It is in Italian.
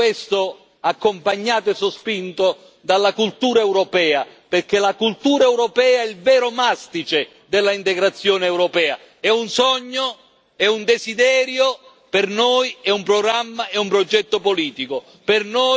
Tutto questo accompagnato e sospinto dalla cultura europea, perché la cultura europea è il vero mastice dell'integrazione europea, è un sogno, è un desiderio per noi, è un programma, è un progetto politico.